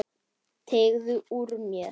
Teygði úr mér.